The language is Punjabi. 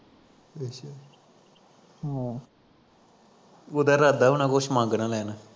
ਉੱਦਾ ਇਰਾਦਾ ਹੋਣਾ ਕੁਸ਼ ਮੰਗ ਨਾ ਲੈਣ